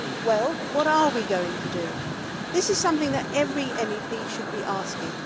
Well, what are we going to do? This is something that every MEP should be asking.